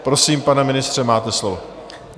Prosím, pane ministře, máte slovo.